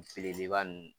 Belebeleba ninnu